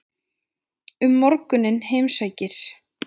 Um morguninn heimsækir